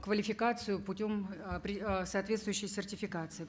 квалификацию путем э э соответствующей сертификации